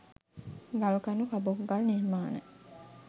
ගල් කණු කබොක් ගල් නිර්මාණ